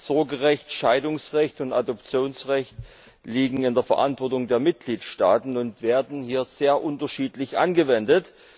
Sorgerecht, Scheidungsrecht und Adoptionsrecht liegen in der Verantwortung der Mitgliedstaaten und werden hier sehr unterschiedlich angewendet.